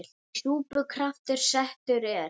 Í súpu kraftur settur er.